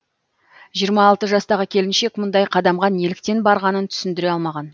жиырма алты жастағы келіншек мұндай қадамға неліктен барғанын түсіндіре алмаған